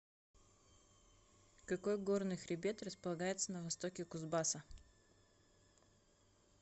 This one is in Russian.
какой горный хребет располагается на востоке кузбасса